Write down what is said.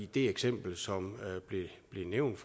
det eksempel som blev nævnt